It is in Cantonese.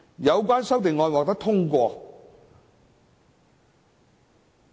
有關修正案已獲得通過。